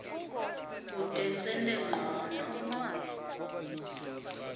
kute sente ncono